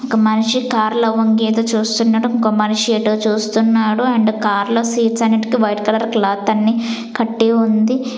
ఒక మనిషి కారులో వంగి ఏదో చూస్తున్నట్టు ఇంకో మనిషి ఎటో చూస్తున్నాడు అండ్ కార్ లో సీట్స్ అన్నిటికీ వైట్ కలర్ క్లాత్ అన్ని కట్టి ఉంది.